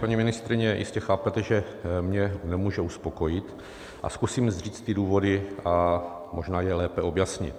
Paní ministryně, jistě chápete, že mě nemůže uspokojit, a zkusím říct ty důvody a možná je lépe objasnit.